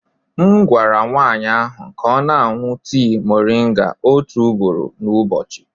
M gwara nwaanyị ahụ ka ọ na-aṅụ tii moringa otu ugboro n'ụbọchị.